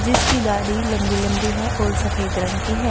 जिसकी दाढ़ी लंबी लंबी है और सफेद रंग की है।